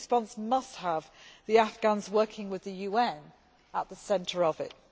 This response must have the Afghans working with the UN at the centre of it.